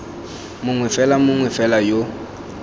mongwe fela mongwe fela yo